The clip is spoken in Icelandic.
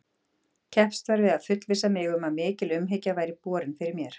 Keppst var við að fullvissa mig um að mikil umhyggja væri borin fyrir mér.